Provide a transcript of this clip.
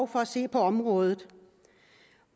for at se på området